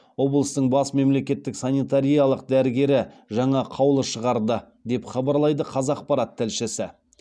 облыстың бас мемлекеттік санитариялық дәрігері жаңа қаулы шығарды деп хабарлайды қазақпарат тілшісі